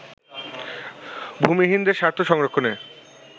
ভূমিহীনদের স্বার্থ সংরক্ষণে